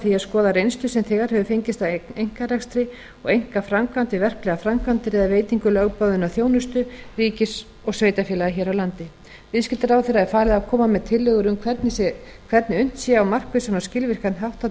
að skoða reynslu sem þegar hefur fengist af einkarekstri og einkaframkvæmd við verklegar framkvæmdir eða veitingu lögboðinnar þjónustu ríkis og sveitarfélaga hér á landi viðskiptaráðherra er falið að koma með tillögur um hvernig unnt sé á markvissan og skilvirkan hátt að